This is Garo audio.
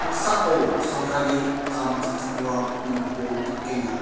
sorkari kam ka·chakram nokko nikenga.